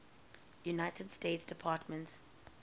united states department